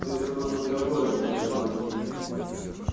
но и сама мандрагора небезопасна